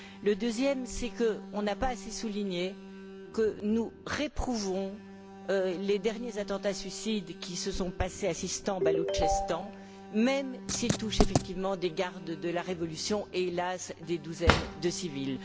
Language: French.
Le deuxième point, c'est qu'il n'a pas assez été souligné que nous réprouvons les derniers attentats suicides qui se sont passés au Sistan Baloutchistan, même s'ils touchent effectivement des gardes de la révolution et, hélas, des douzaines de civils.